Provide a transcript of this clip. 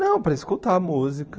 Não, para escutar a música.